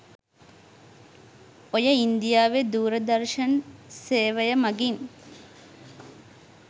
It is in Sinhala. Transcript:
ඔය ඉන්දියාවේ දූරදර්ශන් සේවයමගින්